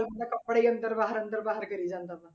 ਬੰਦਾ ਕੱਪੜੇ ਹੀ ਅੰਦਰ ਬਾਹਰ ਅੰਦਰ ਬਾਹਰ ਕਰੀ ਜਾਂਦਾ ਵਾ।